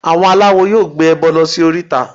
Àwọn aláwo yóò gbé ẹbọ lọ sí oríta